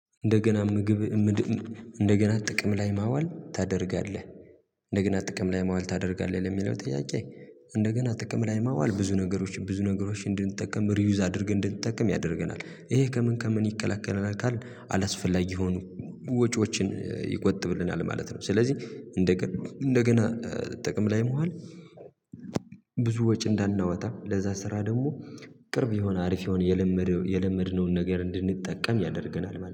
እንደገና ምግብ ምድብ እንደገና ጥቅም ላይ ማዋል ታደርጋለህ ጥቅም ላይ ማዋል ታደርጋለህ ለሚለው ጥያቄ? እንደገና ጥቅም ላይ ማዋል ብዙ ነገሮችን ብዙ ነገሮችን እንድንጠቀም ሪዩዝ አድርገህ እንድንጠቀም ያደርገናል ይሄ ከምን ከምን ይቀላቀለናል ካልን አላስፈላጊ የሆኑ ወጪዎችን ይቆጥብልናል ማለት ነው። ስለዚህ እንደገና እንደገና ጥቅም ላይ መዋል። ብዙ ወጪ እንዳናወጣ ለዛ ስራ ደግሞ ቅርብ የሆነ አሪፍ የሆነ የለመድነውን ነገር እንድንጠቀም ያደርገናል